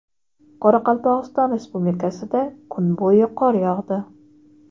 Qoraqalpog‘iston Respublikasida kun bo‘yi qor yog‘di.